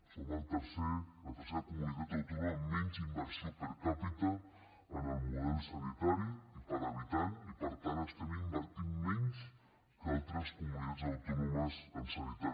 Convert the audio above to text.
som el tercer la tercera comunitat autònoma amb menys inversió per càpita en el model sanitari i per habitant i per tant estem invertint menys que altres comunitats autònomes en sanitat